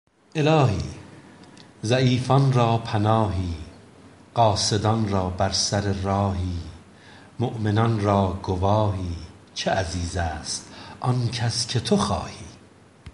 الهی ضعیفان را پناهی قاصدان را بر سر راهی مومنان را گواهی چه عزیز است آن کس که تو خواهی